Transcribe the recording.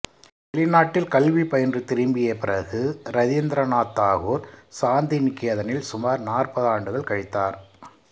வெளிநாட்டில் கல்வி பயின்று திரும்பிய பிறகு இரதிந்திரநாத் தாகூர் சாந்திநிகேதனில் சுமார் நாற்பதாண்டுகள் கழித்தார்